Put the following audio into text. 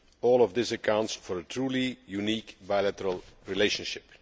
All of this accounts for a truly unique bilateral relationship.